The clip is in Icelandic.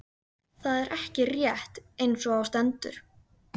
Og það er ekki rétt einsog á stendur.